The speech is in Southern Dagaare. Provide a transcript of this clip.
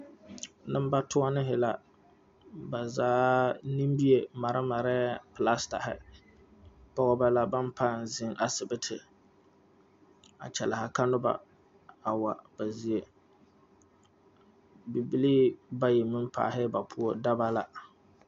Neŋbatoɔnehi la ba zaa neŋmie mare marɛɛ plastahi pɔɔbɔ la baŋ paŋ zeŋ zeŋ asibiti a kyɛliha ka nobɔ a wa ba zie bibilii bayi meŋ paalɛɛ ba poɔ daba la.